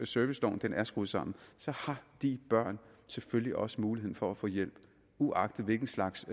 serviceloven er skruet sammen har de børn selvfølgelig også muligheden for at få hjælp uagtet hvilken slags